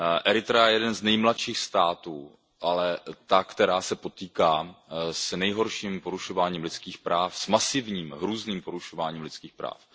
Eritrea je jeden z nejmladších států, ale ta, která se potýká s nejhorším porušováním lidských práv, s masivním, různým porušováním lidských práv.